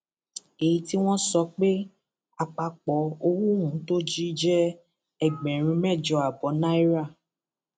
èyí tí wọn sọ pé àpapọ owó ohun tó jí jẹ ẹgbẹrún mẹjọ ààbọ náírà